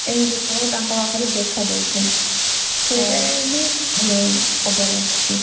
ଏମିତି ସବୁ ତାଙ୍କ ପାଖରେ ଦେଖା ଦଉଛି ସେଇଟା ବି ଖବର ଆସିଛି